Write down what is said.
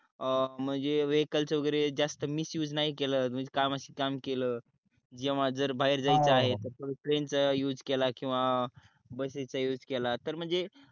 अं म्हंजे वेहिकल च वागेरे जास्त मिससुसए नह केल कमाशी काम केल तर ट्रेन चा यूज केला किवा बसे चा यूज केला तर म्हणजे